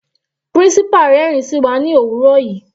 Principal rẹ́rin sí wa ní òwúrọ̀ yìí.